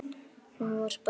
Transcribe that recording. Hún var bara svona